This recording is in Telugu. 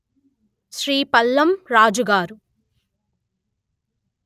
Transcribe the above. శ్రీ పళ్ళం రాజుగారు